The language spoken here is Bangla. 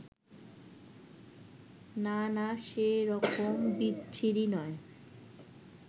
না না, সে রকম বিচ্ছিরি নয়